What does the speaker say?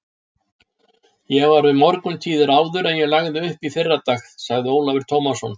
Ég var við morguntíðir áður en ég lagði upp í fyrradag, sagði Ólafur Tómasson.